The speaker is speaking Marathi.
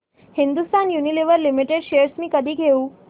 हिंदुस्थान युनिलिव्हर लिमिटेड शेअर्स मी कधी घेऊ